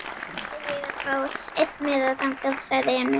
Þá ætla ég að fá einn miða þangað, sagði Emil.